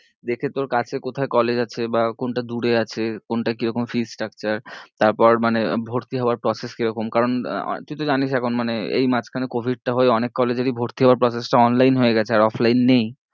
দেখে তোর কাছে কোথায় college আছে বা কোনটা দূরে আছে, কোনটা কিরকম fee structure তারপর মানে ভর্তি হওয়ার process কিরকম কারণ আহ আহ তুই তো জানিস এখন মানে এই মাঝখানে covid টা হয়ে অনেক college এরই ভর্তি হওয়ার process টা online হয়ে গেছে আর offline নেই